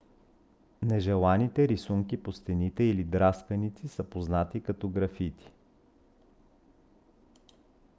нежеланите рисунки по стените или драсканици са познати като графити